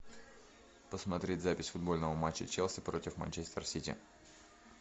посмотреть запись футбольного матча челси против манчестер сити